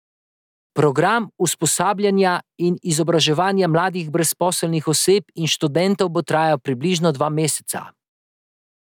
Program usposabljanja in izobraževanja mladih brezposelnih oseb in študentov bo trajal približno dva meseca.